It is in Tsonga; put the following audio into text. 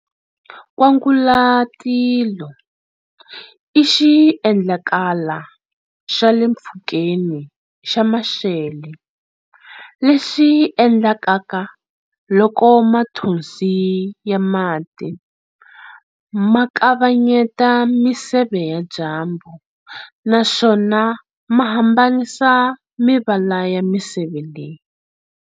Kwangalatilo i xiendlakala xa le mpfhukeni xa maxele, lexi endlekaka loko mathonsi ya mati ma kavanyeta miseve ya dyambu, na swona ma hambanisa mivala ya miseve leyi.